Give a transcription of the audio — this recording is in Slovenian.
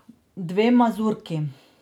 Dve mazurki.